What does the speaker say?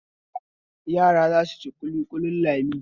Yara za su ci ƙulƙulin Lami.